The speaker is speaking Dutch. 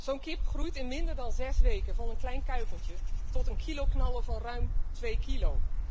Zo'n kip groeit in minder dan 6 weken van een klein kuikentje tot een kiloknaller van ruim 2 kilo.